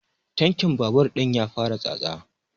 Tankin babur ɗin ya fara tsatsa